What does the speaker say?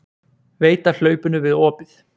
Veit af hlaupinu við opið.